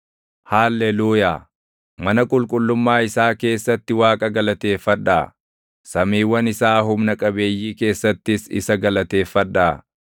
Haalleluuyaa. Mana qulqullummaa isaa keessatti Waaqa galateeffadhaa; samiiwwan isaa humna qabeeyyii keessattis isa galateeffadhaa.